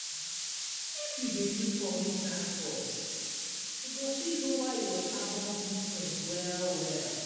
If you dey use public transport, e go fit lower your carbon footprint well-well.